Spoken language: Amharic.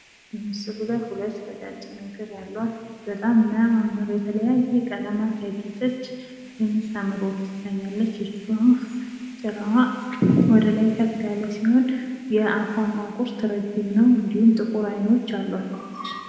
በምስሉ ላይ ሁለት ቀጫጭን እግር ያሏት በጣም ሚያማምር የተለያየ ቀለማት ያጌጠች የምታምር ወፍ ትታያልች ይቺ ወፍ ጭራዋ ወደ ላይ ከፍ ያለ ሲሆን የአፏ ማንቁርት ረጅም ነው እንዲሁም ጥቁር አይኖች አሏት።